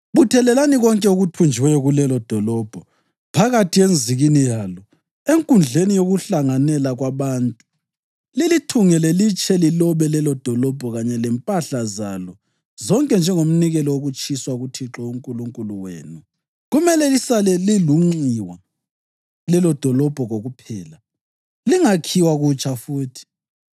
Buthelelani konke okuthunjiweyo kulelodolobho phakathi enzikini yalo enkundleni yokuhlanganela kwabantu lilithungele litshe lilobe lelodolobho kanye lempahla zalo zonke njengomnikelo wokutshiswa kuThixo uNkulunkulu wenu. Kumele lisale lilunxiwa lelodolobho kokuphela, lingakhiwa kutsha futhi.